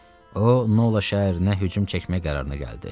O Nola şəhərinə hücum çəkmək qərarına gəldi.